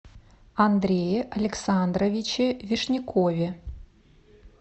андрее александровиче вишнякове